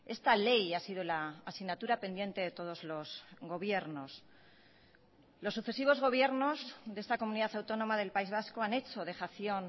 esta ley ha sido la asignatura pendiente de todos los gobiernos los sucesivos gobiernos de esta comunidad autónoma del país vasco han hecho dejación